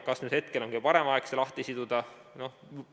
Kas nüüd hetkel on kõige parem aeg see lahti siduda?